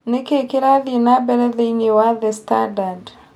Nĩ kĩĩ kĩrathiĩ na mbere thĩinĩ wa The Standard?